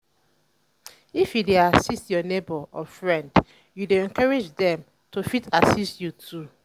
if you de assist um your um neighbor or friend you de encourage dem to fit assit you too